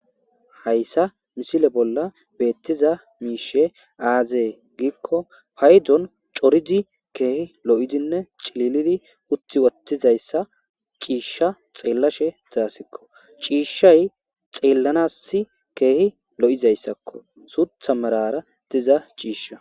Hayisan misile bolla betizayisi aze giko hayidon co,ridi kehi lo,idinne ci,lilidi utiwotidayisa ci,isha xelashe dizayisiko ci,ishay xelanasi kehi lo,izasako sutha merara dizayisa